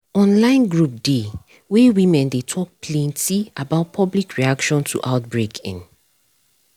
online group dey wey women dey talk plenty about public reaction to outbreak in